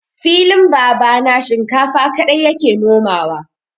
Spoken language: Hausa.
Filin babana shinkafa kaɗai ya ke nomawa.